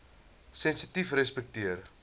sensitiefrespekteer